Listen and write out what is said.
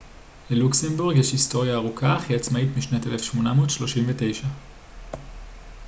ללוקסמבורג יש היסטוריה ארוכה אך היא עצמאית משנת 1839